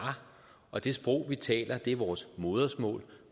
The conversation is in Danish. og det sprog vi taler er vores modersmål